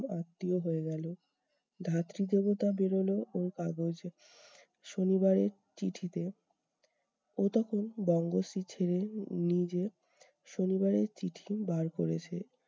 আত্মীয় হয়ে গেলো। ধাত্রীদেবতা বেরোলো ওর কাগজ শনিবারের চিঠিতে। ও তখন বঙ্গশ্রী ছেড়ে নিজে শনিবারের চিঠি বার করেছে।